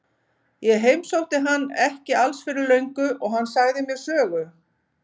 Ég heimsótti hann ekki alls fyrir löngu og hann sagði mér sögu.